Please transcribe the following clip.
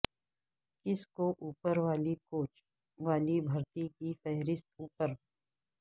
کس کو اوپر والی کوچ والی بھرتی کی فہرست اوپر